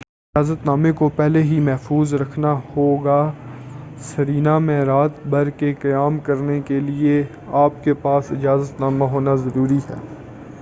اجازت نامے کو پہلے ہی محفوظ رکھنا ہوگا سرینا میں رات بھر کے قیام کرنے کے لئے اپ کے پاس اجازت نامہ کا ہونا ضروری ہے